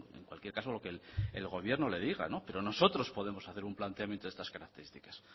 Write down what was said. en cualquier caso lo que el gobierno le diga pero nosotros podemos hacer un planteamiento de estas características